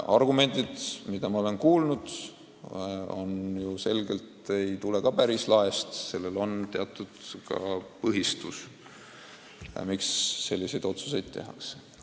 Argumendid, mida ma olen kuulnud, ilmselgelt ei tule ka päris laest, sellel on teatud põhjused, miks selliseid otsuseid tehakse.